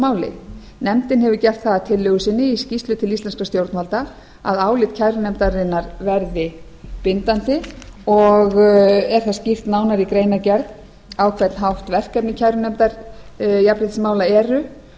máli nefndin hefur gert það að tillögu sinni í tillögu til íslenskra stjórnvalda að álit kærunefndarinnar verði bindandi og er það skýrt nánar í greinargerð á hvern hátt verkefni kærunefndar jafnréttismála eru